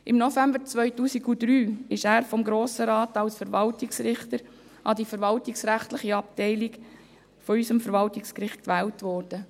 Im November 2003 wurde er vom Grossen Rat als Verwaltungsrichter an die verwaltungsrechtliche Abteilung unseres Verwaltungsgerichts gewählt.